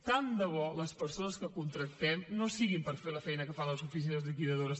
tant de bo que les persones que contractem no siguin per fer la feina que fan les oficines liquidadores